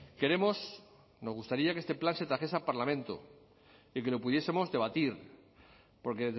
queremos nos gustaría que este plan se trajese a parlamento y que lo pudiesemos debatir porque